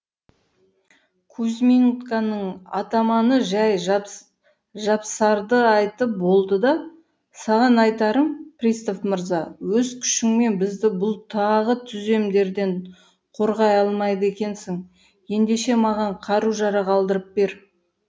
кузьминканың атаманы жай жапсарды айтып болды да саған айтарым пристав мырза өз күшіңмен бізді бұл тағы түземдерден қорғай алмайды екенсің ендеше маған қару жарақ алдырып бер